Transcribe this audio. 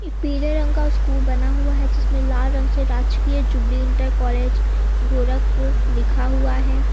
पीले रंग का स्कूल बना हुआ है जिसमें लाल रंग से राजकीय जुबिली इंटर कॉलेज गोरखपुर लिखा हुआ है।